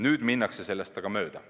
Nüüd minnakse sellest aga mööda.